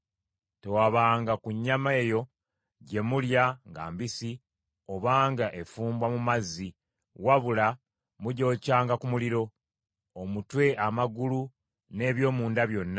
Tewabanga ku nnyama eyo gye mulya nga mbisi obanga efumbwa mu mazzi; wabula mugyokyanga ku muliro: omutwe, amagulu n’eby’omunda byonna.